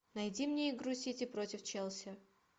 найди мне игру сити против челси